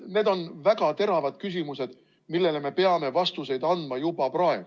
Need on väga teravad küsimused, millele me peame vastuseid andma juba praegu.